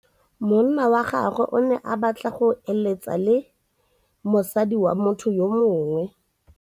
Monna wa gagwe o ne a batla go êlêtsa le mosadi wa motho yo mongwe.